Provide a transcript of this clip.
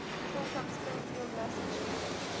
people from springfield massachusetts